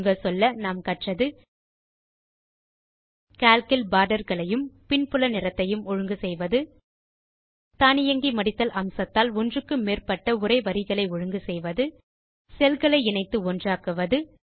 சுருங்கச்சொல்ல நாம் கற்றது கால்க் இல் பார்டர்களையும் பின்புல நிறத்தையும் ஒழுங்கு செய்வது தானியங்கி மடித்தல் அம்சத்தால் ஒன்றுக்கு மேற்பட்ட உரை வரிகளை ஒழுங்கு செய்வது செல் களை இணைத்து ஒன்றாக்குவது